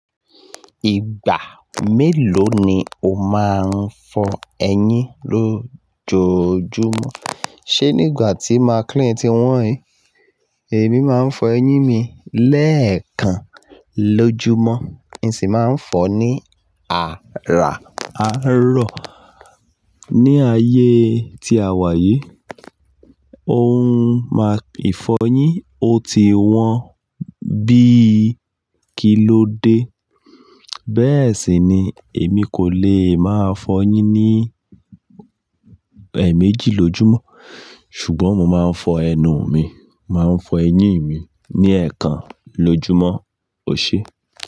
Ìgbà mélòó ni o máa ń fọ eyín lójọ̀ọ́júmọ̀? Ṣé nígbà tí maclean ti wọ́n yí, èmi máa ń fọ eyín mi lẹ́ẹ̀kan lójúmọ́, mi si máa ń fọ ní àràárọ̀. Ni ayé tí awà yìí, ohun máa ìfọyín ò ti wọ́n bíi kìlóde. Bẹ́ẹ̀ sì ni èmi kò lè máa fọ eyín ní ẹ́ẹ̀méjì lójúmọ́, ṣùgbọ́n mo máa ń fọ ẹnu mi, máa ń fọ eyín mi ní ẹ̀ẹ̀kan lójúmọ́, óṣe.